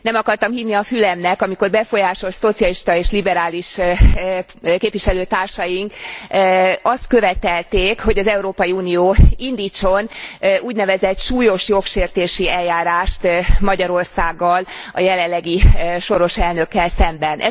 Nem akartam hinni a fülemnek, amikor befolyásos szocialista és liberális képviselőtársaink azt követelték, hogy az Európai Unió indítson úgynevezett súlyos jogsértési eljárást Magyarországgal, a jelenlegi soros elnökkel szemben.